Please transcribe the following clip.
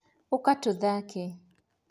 ũka tũthake